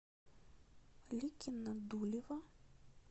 ликино дулево